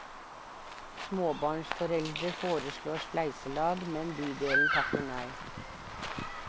Småbarnsforeldre foreslår spleiselag, men bydelen takker nei.